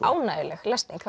ánægjuleg lesning